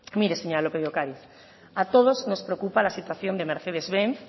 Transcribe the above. mire señora lópez de ocariz a todos nos preocupa la situación de mercedes benz